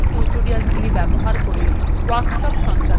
কথ্য tutorialsগুলি ব্যবহার করে workshop সঞ্চালন করে